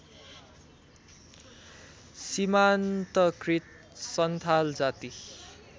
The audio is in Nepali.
सीमान्तकृत सन्थाल जाति